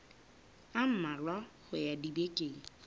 a mmalwa ho ya dibekeng